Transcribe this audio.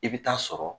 I bɛ taa sɔrɔ